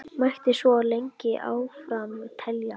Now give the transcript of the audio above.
Mætti svo lengi áfram telja.